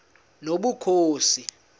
nobukhosi